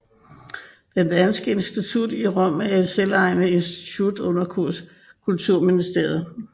Det danske institut i Rom er en selvejende institution under Kulturministeriet